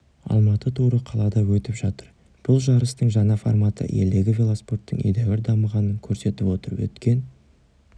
алматы туры қалада өтіп жатыр бұл жарыстың жаңа форматы елдегі велоспорттың едәуір дамығанын көрсетіп отыр өткен